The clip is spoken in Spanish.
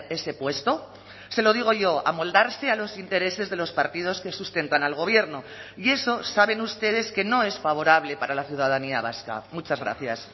ese puesto se lo digo yo amoldarse a los intereses de los partidos que sustentan al gobierno y eso saben ustedes que no es favorable para la ciudadanía vasca muchas gracias